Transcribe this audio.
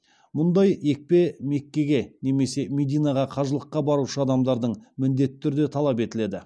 мұндай екпе меккеге немесе мединаға қажылыққа барушы адамдардан міндетті түрде талап етіледі